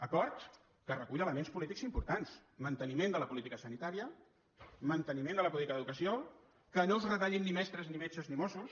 acord que recull elements polítics importants manteniment de la política sanitària manteniment de la política d’educació que no es retallin ni mestres ni metges ni mossos